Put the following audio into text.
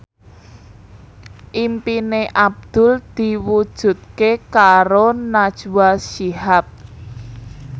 impine Abdul diwujudke karo Najwa Shihab